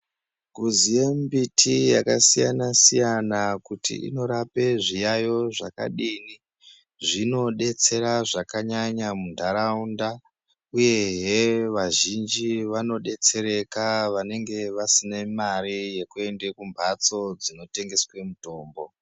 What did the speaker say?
Kuziye mimbiti yakasiyana-siyana kuti inorape zviyaiyo zvakadini zvinodetsera zvakanyanya muntaraunda, uyehe vazhinji vanodetsereka vanenge vasine mare yekuende kumphatso dzinotengeswe mitombo.